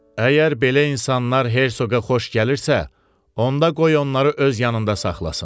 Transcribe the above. Əgər belə insanlar hersoqa xoş gəlirsə, onda qoy onları öz yanında saxlasın.